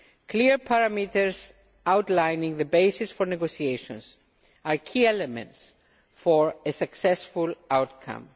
Clear parameters outlining the basis for negotiations are key elements for a successful outcome.